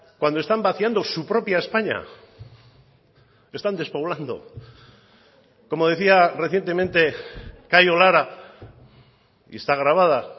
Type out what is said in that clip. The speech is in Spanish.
cuando están vaciando su propia españa están despoblando como decía recientemente cayo lara y está grabada